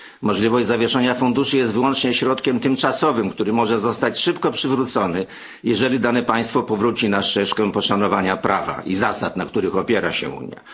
Możliwość zawieszania funduszy jest wyłącznie środkiem tymczasowym, który może zostać szybko przywrócony, jeżeli dane państwo powróci na ścieżkę poszanowania prawa i zasad, na których opiera się Unia.